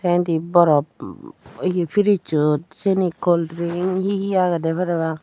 indi borop ye fridgesot seani cool drink he he agedy parapang.